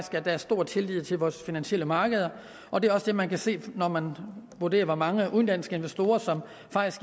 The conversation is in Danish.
at der er stor tillid til vores finansielle markeder og det er også det man kan se når man vurderer hvor mange udenlandske investorer der